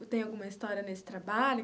Tem alguma história nesse trabalho?